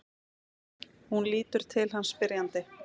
Hún lítur til hans spyrjandi.